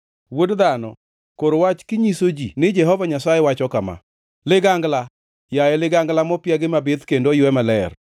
“Wuod dhano, kor wach kinyiso ji ni Jehova Nyasaye wacho kama: “ ‘Ligangla, yaye ligangla mopiagi mabith kendo oywe maler,